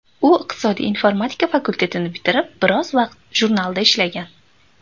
U iqtisodiy informatika fakultetini bitirib biroz vaqt jurnalda ishlagan.